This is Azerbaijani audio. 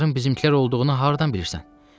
Bunların bizimkilər olduğunu hardan bilirsən?